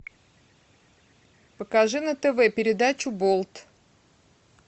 покажи на тв передачу болт